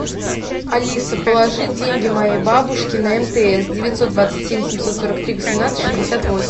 алиса положи деньги моей бабушке на мтс девятьсот двадцать семь семьсот сорок три восемнадцать шестьдесят восемь